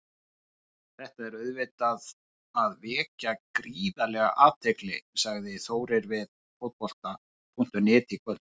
Þetta er auðvitað að vekja gríðarlega athygli, sagði Þórir við Fótbolta.net í kvöld.